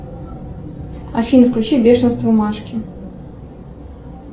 афина включи бешенство машки